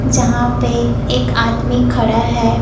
यहां पे एक आदमी खड़ा है।